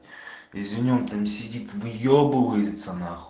извини он там сидит выебывается нахуй